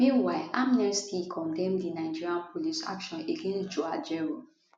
meanwhile amnesty condemn di nigeria police action against joe ajaero